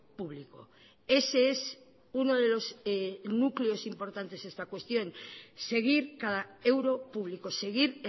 público ese es uno de los núcleos importantes de esta cuestión seguir cada euro público seguir